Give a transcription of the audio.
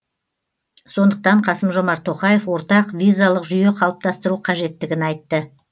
сондықтан қасым жомарт тоқаев ортақ визалық жүйе қалыптастыру қажеттігін айтты